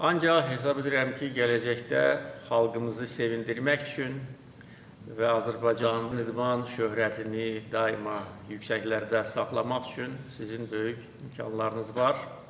Ancaq hesab edirəm ki, gələcəkdə xalqımızı sevindirmək üçün və Azərbaycan idman şöhrətini daima yüksəklərdə saxlamaq üçün sizin böyük imkanlarınız var.